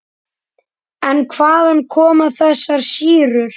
En hvaðan koma þessar sýrur?